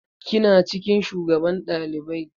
Kina cikin shugaban ɗalibai?